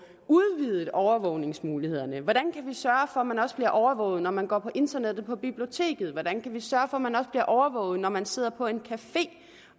udvidet overvågningsmulighederne hvordan kan vi sørge for at man også bliver overvåget når man går på internettet på biblioteket hvordan kan vi sørge for at man også bliver overvåget når man sidder på en café